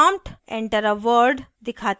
prompt enter a word दिखाता है